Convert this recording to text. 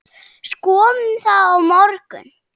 Skoðum það á morgun.